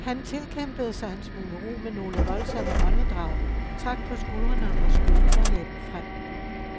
Han tilkæmpede sig en smule ro med nogle voldsomme åndedrag, trak på skuldrene og skød underlæben frem.